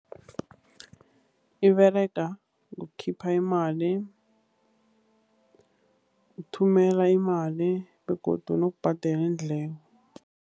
Iberega ngokukhipha imali, ukuthumela imali, begodu nokubhadela iindleko.